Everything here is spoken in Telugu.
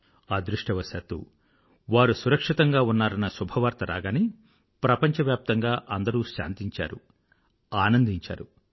అదృష్టవశాత్తూ వారు సురక్షితంగా ఉన్నారన్న శుభవార్త రాగానే ప్రపంచవ్యాప్తంగా అందరూ శాంతించారు ఆనందించారు